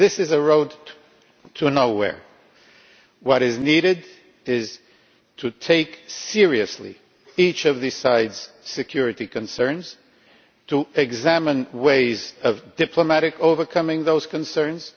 This is a road to nowhere. What is needed is to take seriously each side's security concerns and to examine ways of diplomatically overcoming those concerns.